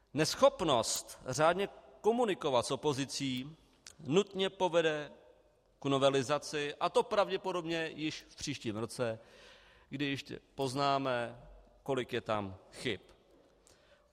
Neschopnost řádně komunikovat s opozicí nutně povede k novelizaci, a to pravděpodobně již v příštím roce, kdy ještě poznáme, kolik je tam chyb.